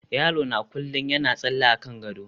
yaro na kullum yana tsalle akan gado